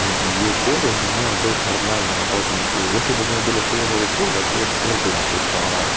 её уколы у меня идут нормальные ровненькие если бы у меня были хуевые уколы я б ей руку нахуй поломал